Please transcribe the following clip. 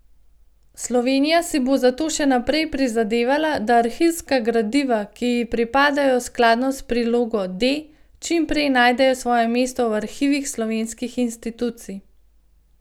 Slovenija si bo zato še naprej prizadevala, da arhivska gradiva, ki ji pripadajo skladno s prilogo D, čim prej najdejo svoje mesto v arhivih slovenskih institucij.